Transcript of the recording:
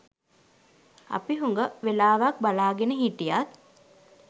අපි හුඟ වෙලාවක් බලාගෙන හිටියත්